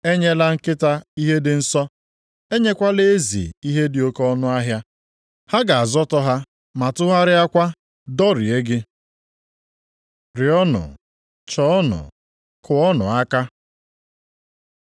“Enyela nkịta ihe dị nsọ. Enyekwala ezi ihe dị oke ọnụahịa. Ha ga-azọtọ ha ma tụgharịakwa dọrie gị. Rịọọnụ, chọọnụ, kụọnụ aka